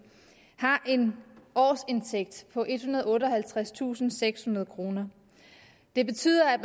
har en årsindtægt på ethundrede og otteoghalvtredstusindsekshundrede kroner det betyder at